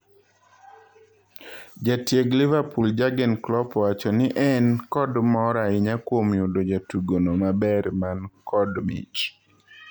Jatieg Liverpool Jurgen Klopp owacho ni en kod mor ahinya kuom yudo jatugono maber man kod mich.